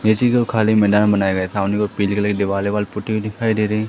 इसीको खाली मैदान बनाया गया सामने वो पीले कलर की दिवाल विवाल पुती हुई दिखाई दे रही है।